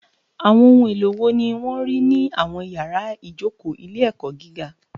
Àwọn ohun èlò wo ni wọ́n rí ní àwọn yàrá ìjókòó ilé-ẹ̀kọ́ gíga?